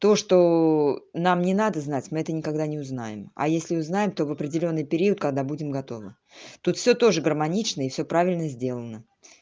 то что нам не надо знать мы это никогда не узнаем а если узнаем то в определённый период когда будем готовы тут всё тоже гармонично и всё правильно сделано